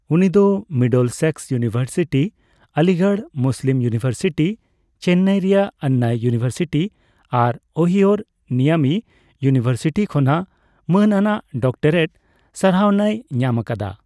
ᱩᱱᱤᱫᱚ Middlesex University, Aligarh Muslim University, Chennai ᱨᱮᱭᱟᱜ Anna University, ᱟᱨ ᱳᱦᱤᱳᱨ ᱢᱤᱭᱟᱢᱤ ᱤᱭᱩᱱᱤᱵᱷᱟᱨᱥᱤᱴᱤ ᱠᱷᱚᱱᱟᱜ ᱢᱟᱹᱱ ᱟᱱᱟᱜ ᱰᱚᱠᱴᱚᱨᱮᱴ ᱥᱟᱨᱦᱟᱣᱱᱟᱭ ᱧᱟᱢ ᱟᱠᱟᱫᱟ ᱾